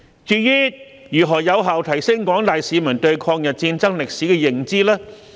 至於如何有效提升廣大市民對抗日戰爭歷史的認知呢？